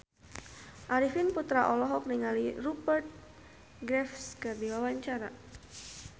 Arifin Putra olohok ningali Rupert Graves keur diwawancara